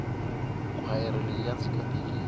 khwayere leyi ya ndzi katekisa